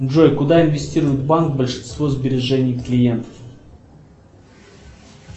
джой куда инвестирует банк большинство сбережений клиентов